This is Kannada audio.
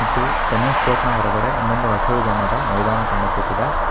ಮತ್ತು ಟೆನ್ನಿಸ್ ಕೋರ್ಟ್ ನ ಹೊರಗಡೆ ಇನ್ನೊಂದು ಹಸಿರು ಬಣ್ಣದ ಮೈದಾನ ಕಾಣಿಸುತ್ತಿದೆ.